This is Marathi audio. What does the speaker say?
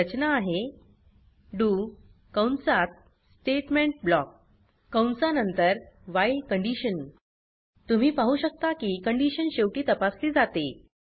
रचना आहे डीओ कंसात स्टेटमेंट ब्लॉक कंसा नंतर व्हाईल तुम्ही पाहु शकता की कंडीशन शेवटी तपासली जाते